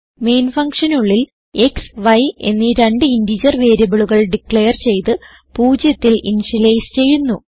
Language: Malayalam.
മെയിൻ functionനുള്ളിൽ x y എന്നീ രണ്ട് ഇന്റഗർ വേരിയബിളുകൾ ഡിക്ളയർ ചെയ്ത് 0ൽ ഇനിഷ്യലൈസ് ചെയ്യുന്നു